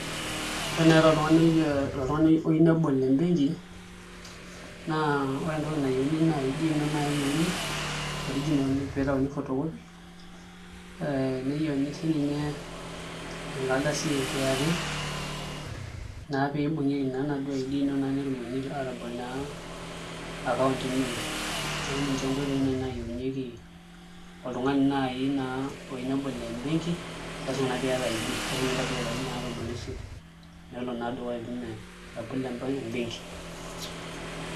Ore naai toltung'ani oyieu nebol embenki naa ore entoki nayieuni naa ID ino naai eyieuni original pee itauni photocopy ee neyienu sininye enkardasi e KRA naa pee ibung'ieki naa enaduo ID ino peyie etumokini aatabol naa account embenki neeku ninche naai nkoitoi naayieunyieki oltung'ani naai eneyieu nebol embenki, lasima naa pee iata ID lasima naa pee intabayie ilarin tomon oiset nelo dukuya pee itum atabolo embenki.